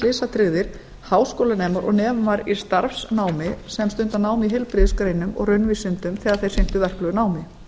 slysatryggðir háskólanemar og nemar í starfsnámi sem stunda nám í heilbrigðisgreinum og raunvísindum þegar þeir sinntu verklegu námi